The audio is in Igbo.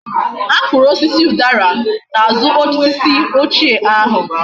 A kuru osisi udara na azu osisi ochie ahu